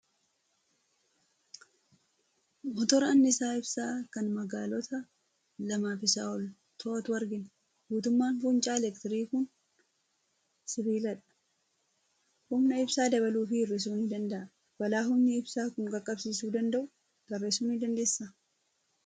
Motora anniisaa ibsaa kan magaalota lamaa fi isaa ol to'atu argina. Guutummaan fuuncaa elektirikii kun sibiiladha. Humna ibsaa dabaluu fi hir'isuu ni danda'a. Balaa humni ibsaa kun qaqqabsiisuu danda'u tarreessuu ni dandeessaa?